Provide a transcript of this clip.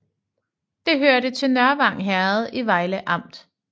Det hørte til Nørvang Herred i Vejle Amt